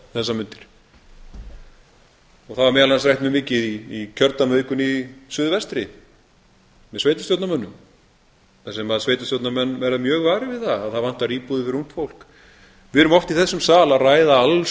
þessar mundir það var meðal annars rætt mjög mikið í kjördæmavikunni í suðvestri með sveitarstjórnarmönnum þar sem sveitarstjórnarmenn verða mjög varir við það að það vantar íbúðir fyrir ungt fólk mikið erum oft í þessum sal að ræða alls